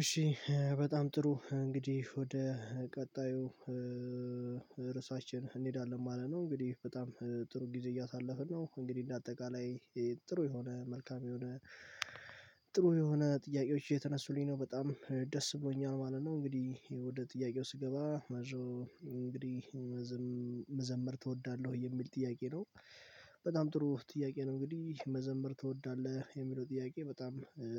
እሺ በጣም ጥሩ እንግዲህ ወደ ቀጣዩ ርዕሳችን እንሄዳለን ማለት ነው። እንግዲህ በጣም ጥሩ ጊዜ እያሳለፍን ነው። እንግዲህ እንደ አጠቃላይ ጥሩ የሆነ መልካም የሆነ ጥሩ የሆነ ጥያቄዎች እየተነሱልኝ ነው በጣም ደስ ብሎኛል ማለት ነው። እንግዲህ ወደ ጥያቄው ስገባ መዝሙ እንግዲህ መዘመር ትወዳለህ ወይ የሚል ጥያቄ ነው? በጣም ጥሩ ጥያቄ ነው እንግዲህ መዘምር ትወዳለህ የሚለው ጥያቄ በጣም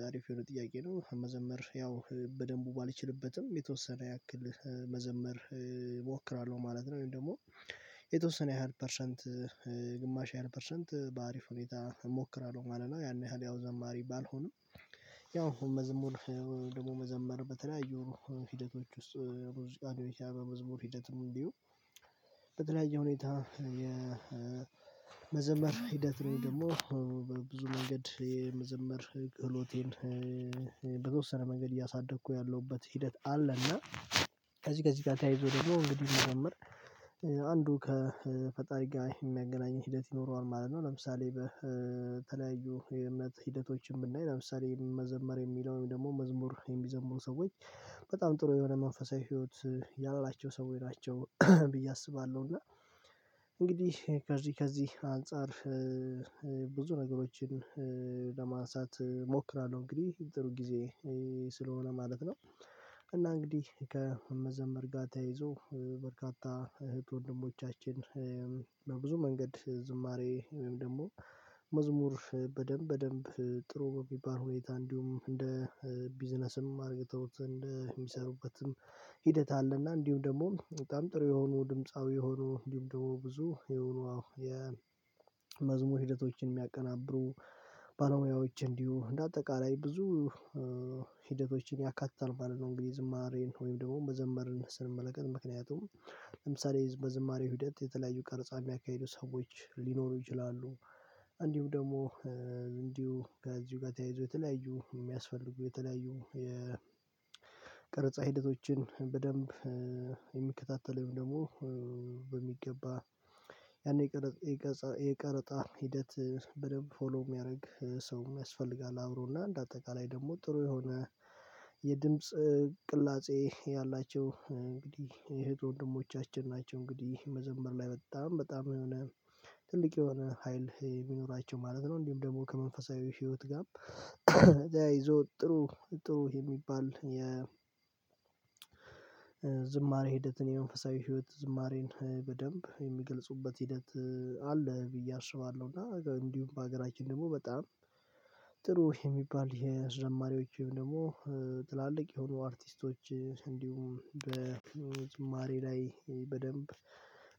አሪፍ የሆነ ጥያቄ ነው። መዘምር ያው በደንብ ባልችልበትም የተወሰነ ያክል መዘመር እሞክራለሁ ማለት ነው። ወይም ደግሞ የተወሰነ ያህል ፐርሰንት ግማሽ ያህል ፐርሰንት በአሪፍ ሁኔታ እሞክራለሁ ማለት ነው። ያን ያህል ያው ዘማሪ ባልሆንም ያው መዝሙር ደግሞ መዘመር በተለያዩ ሂደቶች ውስጥ ሙዚቃ ልሆን ይችላል በመዝሙር ሂደትም እንዲሁ። በተለያየ ሁኔታ የመዘመር ሂደት ወይም ደግሞ ብዙ መንገድ የመዘመር ክህሎቴን በተወሰነ መንገድ እያሳደግኩ ያለሁበት ሂደት አለና ከዚህ ከዚህ ጋር ተያይዞ ደግሞ እንግዲህ መዘመር አንዱ ከፈጣሪ ጋር የሚያገናኝ ሂደት ይኖረዋል ማለት ነው። ለምሳሌ በተለያዩ የእምነት ሂደቶችን ብናይ ለምሳሌ መዘመር የሚለውን ደግሞ መዝሙር የሚዘምር ሰዎች በጣም ጥሩ የሆነ መንፈሳዊ ህይወት ያላቸው ሰው ላይ ናቸው ብዬ አስባለሁ። እና እንግዲህ ከዚህ ከዚህ አንፃር ብዙ ነገሮችን ለማንሳት እሞክራለሁ እንግዲህ ጥሩ ጊዜ ስለሆነ ማለት ነው። እና እንግዲህ ከመዘምር ጋር ተያይዞ በርካታ እህት ወንድሞቻችን በብዙ መንገድ ዝማሬ ወይም ደግሞ መዝሙር በደንብ በደንብ ጥሩ በሚባል ሁኔታ እንዲሁም እንደ ቢዝነስም አድርገውት እንደ ሚሰሩበትም ሂደት አለና እንዲሁም ደግሞ በጣም ጥሩ የሆኑ ድምፃዊ የሆኑ እንዲሁም ደግሞ ብዙ የሆኑ ዋው የመዝሙር ሂደቶችን የሚያቀናብሩ ባለሙያዎች እንዲሁ እንደ አጠቃላይ ብዙ ሂደቶችን ያካትተል ማለት ነው። እንግዲህ ዝማሬን ወይም ደግሞ መዘመርን ስንመለከት ምክንያቱም ለምሳሌ በዝማሬ ሂደት የተለያዩ ቀርፃ የሚያካሄዱ ሰዎች ሊኖሩ ይችላሉ። እንዲሁ ደግሞ እንዲሁ ከዚሁ ጋር ተያይዞ የተለያዩ ሚያስፈልጉ የተለያዩ የቀርጻ ሂደቶችን በደንብ የሚከታተል ወይም ደግሞ በሚገባ ያኔ የቀረፃ ሂደት በደንብ ፎሎ የሚያደርግ ሰው ያስፈልጋል አብሮና እንደ አጠቃላይ ደግሞ ጥሩ የሆነ የድምጽ ቅላጼ ያላቸው እንግዲህ የእህንት ወንድሞቻችን ናቸው። እንግዲህ መዘመር ላይ በጣም በጣም የሆነ ትልቅ የሆነ ሀይል የሚኖራቸው ማለት ነው። እንዲህም ደግሞ ከመንፈሳዊ ህይወት ጋር ተያይዞም ጥሩ ጥሩ የሚባል የ ዝማሬ ሂደትን የመንፈሳዊ ህይወት ዝማሬን በደንብ የሚገልጹበት ሂደት አለ ብዬ አስባለሁ። እና እንዲሁም በሀገራችን ደግሞ በጣም ጥሩ የሚባል ከዘማርዎች ወይም ደግሞ ትላልቅ የሆኑ አርቲስቶች እንዲሁም በዝማሬ ላይ በደንብ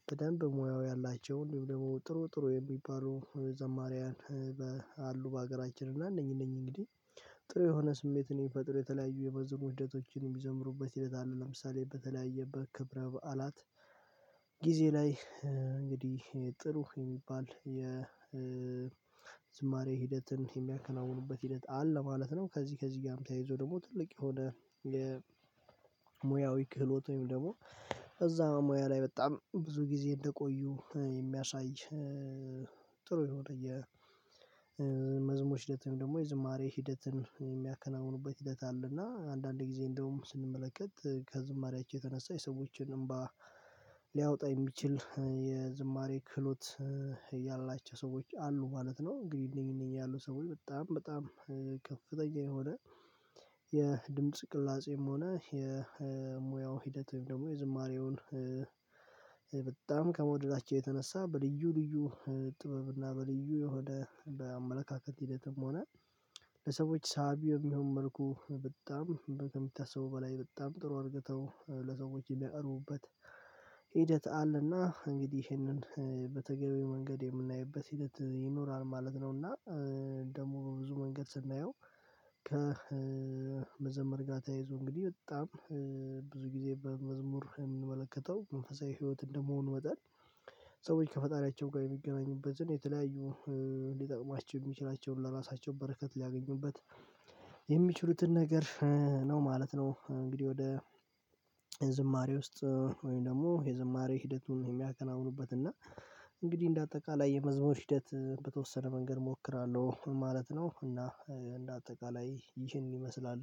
በደንብ ሙያው ያላቸው እንዲሁ ደግሞ ጥሩ ጥሩ የሚባሉ ዘማሪያን አሉ። በሀገራችን እና እነኝ እነኝ እንግዲህ ጥሩ የሆነ ስሜትን ምፈጥሩ የተለያዩ የመዝሙር ህደቶችን የምዘምሩበት ሕደት አለ ለምሳሌ በተለያየ በክብረ በዓላት ጊዜ ላይ እንግዲህ ጥሩ የሚባል የ ዝማሬ ሂደትን የሚያከናውኑበት ሂደት አለ ማለት ነው። ከዚህ ከዚህ ጋርም ተያይዞ ደግሞ ትልቅ የሆነ የሙያዊ ክህሎት ወይም ደግሞ እዛ ሙያ ላይ በጣም ብዙ ጊዜ እንደቆዩ የሚያሳይ ጥሩ የሆነ የመዝሙር ሂደት ደግሞ የዝማሬ ሂደትን የሚያከናውኑበት ሂደት አለና አንዳንዴ ጊዜ እንደውም ስንመለከት ከዝማሬያቸው የተነሳ የሰዎችን እምባ ሊያወጣ የሚችል የዝማሬ ክህሎት ያላቸው ሰዎች አሉ ማለት ነው። ግን እነኝ እነኝ ያሉ ሰዎች በጣም በጣም ከፍተኛ የሆነ የድምድ ቅላጼም ሆነ የሙያው ሂደት ወይም ደግሞ የዝማሬውን በጣም ከመውደዳቸው የተነሳ በልዩ ልዩ ጥበብና በልዩ የሆነ በአመለካከት ሂደትም ሆነ ለሰዎች ሳቢ በሚሆን መልኩ በጣም ከሚታሰቡ በላይ በጣም ጥሩ አርግተው ለሰዎች የሚያቀርቡበት ሂደት አለና እንግዲህ ይህንን በተገቢ መንገድ የምናይበት ሂደት ይኖራል ማለት ነው። እና ደግሞ ብዙ መንገድ ስናየው ከመዘመር ጋር ተያይዞ እንግዲህ በጣም ብዙ ጊዜ በመዝሙር የምንመለከተው መንፈሳዊ ህይወት እንደመሆኑ መጣን ሰዎች ከፈጣሪያቸው ጋር የሚገናኙበትን የተለያዩ ሊጠቅማቸው የሚችላቸውን ለራሳቸው በረከት ሊያገኙበት የሚችሉትን ነገር ነው ማለት ነው። እንግዲህ ወደ ዝማሬ ውስጥ ወይም ደግሞ የዝማሬ ሂደቱን የሚያከናውኑበት እና እንግዲህ እንደ አጠቃላይ የመዝሙር ሂደት በተወሰነ መንገድ እሞክራለሁ ማለት ነው። እና እንደ አጠቃላይ ይህን ይመስላል